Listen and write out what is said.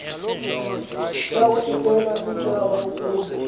yawunikel utshaba ukuba